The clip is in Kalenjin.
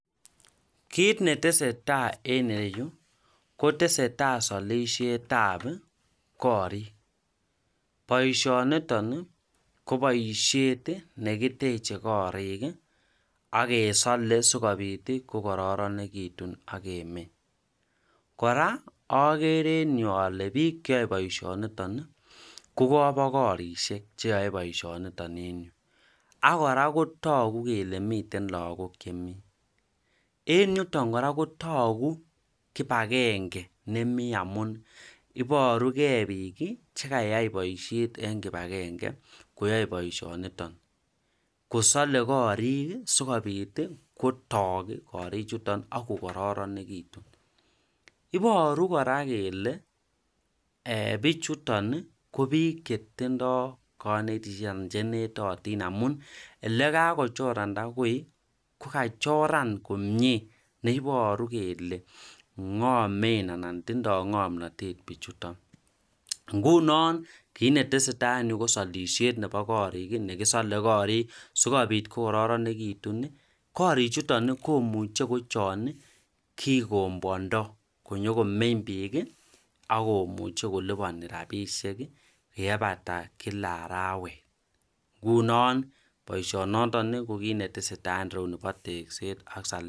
kiit netesetai en ireyu kotesetai solishet ab koriik, boishoniton iih ko boishet negiteche koriik iih ak kesole sigobiit iih kogororegitun ak kemeny, kora ogere en yu ole biik cheyoe boishoniton iih ko kobogorishek cheyoe boishoniton en yuu, ak kora kotogu kele miten lagook chemii, en yuton kora kotogu kipangenge nemii amuun iborugee biik iih chegaiyai bosihet en kipagenge koyoe boishoniton kosole koriik sigobiit iih kotok koriik chuton ak kogororegitun, iboru kora kele bichuton iih ko biik chetindo konetisyeet chenetotin amun elekagochoranda koi ko kachoran komyee neiboru kele ngomeen anan tindo ngomnotet bichujton, ngunon kiit netesetai en yujtonko solishet nebo koriik negisole koriik sigobiit kogororegitun ii, koriik chuton iih komuche kochon kigomoondoo konyogon=meny biik iih ak komuche konyogoluboni rabishek yeibata kila araweet, ngunon boishonoton ko kiit netesetai en ireyuu nibo tekseet ak salet.